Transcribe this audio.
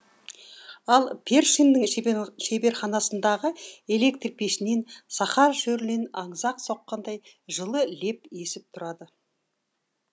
ал першиннің шеберханасындағы электр пешінен сахара шөлінен аңызақ соққандай жылы леп есіп тұрады